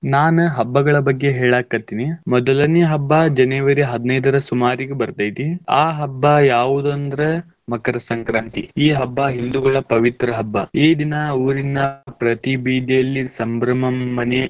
ನಾನ್ ಹಬ್ಬಗಳ್ ಬಗ್ಗೆ ಹೇಳಾಕತ್ತೇನಿ. ಮೊದಲನೇ ಹಬ್ಬಾ January ಹದಿನೈದರ ಸುಮಾರಿಗ್ ಬರ್ತೇತಿ. ಆ ಹಬ್ಬಾ ಯಾವುದಂದ್ರ್ ಮಕರ ಸಂಕ್ರಾಂತಿ ಈ ಹಬ್ಬಾ ಹಿಂದೂಗಳ ಪವಿತ್ರ ಹಬ್ಬ, ಈ ದಿನ ಊರಿನ ಪ್ರತಿ ಬೀದಿಯಲ್ಲಿ ಸಂಭ್ರಮ ಮನೆ.